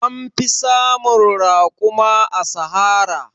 An fi samun raƙuma a Sahara.